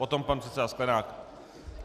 Potom pan předseda Sklenák.